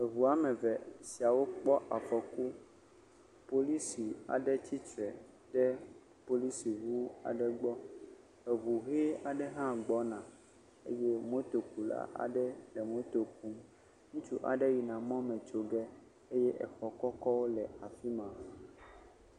Eŋu woame eve siawo kpɔ afɔku, polisi aɖe tsitre ɖe polisi ŋu aɖe gbɔ eŋu ʋe aɖe hã gbɔna eye motokula aɖe le moto kum, ŋutsu aɖe yina mɔ me tso ge, exɔ kɔkɔ aɖewo hã le afi ma.